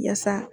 Yaasa